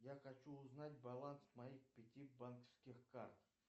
я хочу узнать баланс моих пяти банковских карт